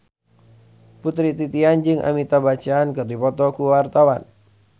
Putri Titian jeung Amitabh Bachchan keur dipoto ku wartawan